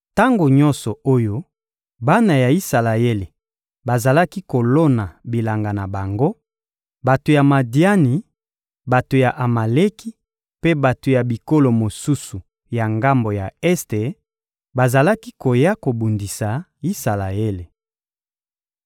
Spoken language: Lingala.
Tango nyonso oyo bana ya Isalaele bazalaki kolona bilanga na bango, bato ya Madiani, bato ya Amaleki mpe bato ya bikolo mosusu ya ngambo ya este, bazalaki koya kobundisa Isalaele.